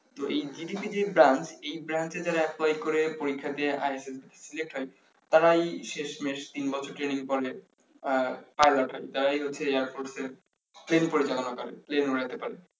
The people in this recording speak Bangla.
তো GDP যে branch এই brance এ যারা apply করে পরীক্ষা দিয়ে select হয় তারাই শেষমেষ তিন বছর training করে আহ pilot তারাই হচ্ছে air force এ পরিচালনা করে plane উড়াতে পারে